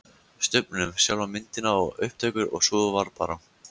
Stubbnum, sjálfa myndina, upptökurnar og svo var bara